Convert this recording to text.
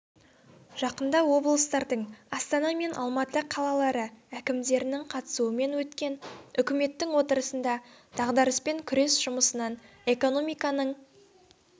жақында облыстардың астана мен алматы қалалары әкімдерінің қатысуымен өткен үкіметтің кеңейтілген отырысында дағдарыспен күрес жұмысынан экономиканың